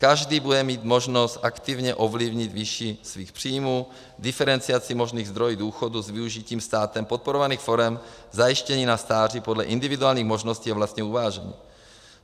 Každý bude mít možnost aktivně ovlivnit výši svých příjmů, diferenciaci možných zdrojů důchodu s využitím státem podporovaných forem zajištění na stáří podle individuálních možností a vlastního uvážení.